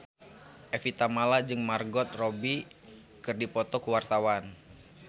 Evie Tamala jeung Margot Robbie keur dipoto ku wartawan